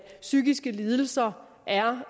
psykiske lidelser er